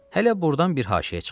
Hələ burdan bir haşiyə çıxaq.